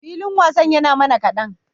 Filin wasa ya mana kadan